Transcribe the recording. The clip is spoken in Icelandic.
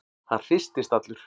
Hann hristist allur.